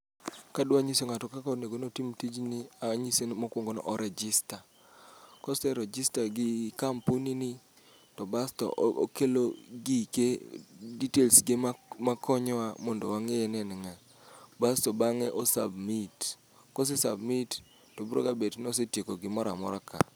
Kadwa nyiso ng'ato kaka onego notim tijni, anyise mokwongo ni o rejista. Koserejista gi kampuni ni, to basto okelo gike, details ge mak makonyowa mondo wang'eye ni en ng'a. Basto bang'e o submit, kose submit, to broga bet ni osetieko gimora mora ka.